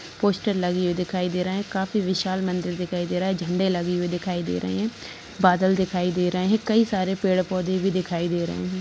Poster लगे हुए दिखाई दे रहा है काफी विशाल मंदिर दिखाई दे रहा है झंडे लगे हुए दिखाई दे रहे हैं बादल दिखाई दे रहे हैं कई सारे पेड़ पौधे भी दिखाई दे रहे हैं।